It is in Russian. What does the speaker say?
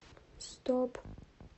стоп